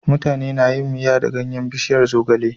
Mutane na yin Miya da ganyan bishiyar zogale